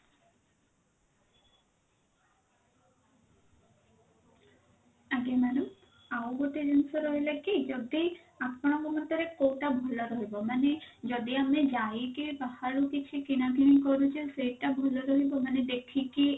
ଆଜ୍ଞା madam ଆଉ ଗୋଟେ ଜିନିଷ ରହିଲା କି ଯଦି ଆପଣଙ୍କ ଭିତରେ କଉଟା ଭଲ ରହିବ ମାନେ ଯଦି ଆମେ ଯାଇକି ବାହାରୁ କିଛି କିଣା କିଣି କରୁଛେ ସେଇଟା ଭଲ ରହିବ ମାନେ ଦେଖିକି